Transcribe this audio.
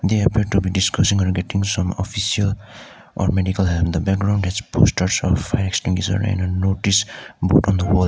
they appear to be discussing and getting some official or many colour on the background has posters or fire extinguisher and a notice board on the wall.